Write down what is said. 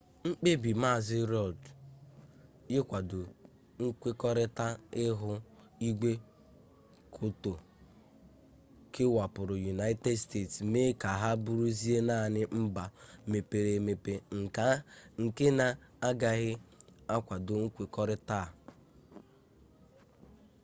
mkpebi mazị rudd ịkwado nkwekọrita ihu igwe kyoto kewapụrụ united states mee ka ha bụrụzie naanị mba mepere-emepe nke na-agaghị akwado nkwekọrịta a